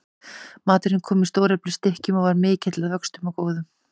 Maturinn kom í stóreflis stykkjum og var mikill að vöxtum og góður.